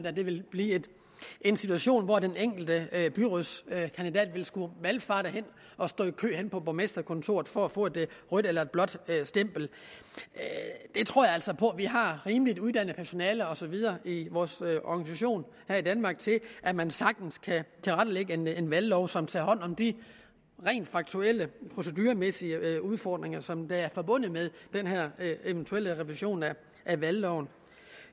at der vil blive en situation hvor den enkelte byrådskandidat vil skulle valfarte hen og stå i kø henne på borgmesterkontoret for at få et rødt eller et blåt stempel jeg tror altså på vi har rimelig uddannet personale og så videre i vores organisation her i danmark til at man sagtens kan tilrettelægge en valglov som tager hånd om de rent faktuelle proceduremæssige udfordringer som er forbundet med den her eventuelle revision af valgloven